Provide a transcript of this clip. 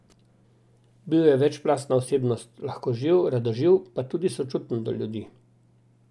Bil je večplastna osebnost, lahkoživ, radoživ, pa tudi sočuten do ljudi.